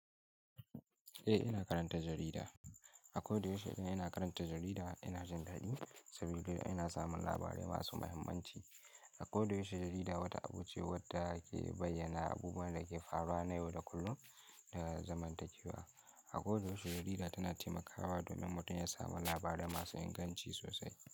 Eh, ina karanta jarida. A koyaushe idan ina karanta jarida ina jin daɗi, saboda ina samun labarai masu mahimmanci. A koyaushe jarida wata abu ce wadda ke bayyana abubuwan da ke faruwa na yau da kullum da zamantakewa. A koyaushe jarida tana taimakawa domin mutum ya samu labarai masu inganci sosai.